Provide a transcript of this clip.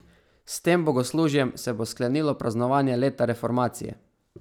S tem bogoslužjem se bo sklenilo praznovanje Leta reformacije.